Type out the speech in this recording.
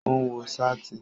Ó ń wọ sáàtì